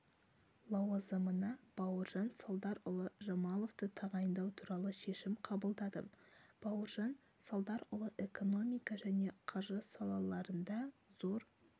лауазымына бауыржан салдарұлы жамаловты тағайындау туралы шешім қабылдадым бауыржан салдарұлы экономика және қаржы салаларында зор